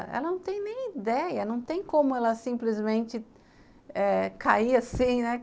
Ela não tem nem ideia, não tem como ela simplesmente eh cair assim, né?